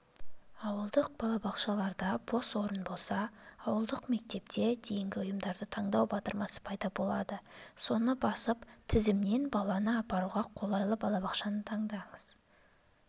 ауылдық балабақшаларда бос орын болса ауылдық мектепке дейінгі ұйымды таңдау батырмасы пайда болады соны басып тізімнен баланы апаруға қолайлы балабақшаны таңдаңыз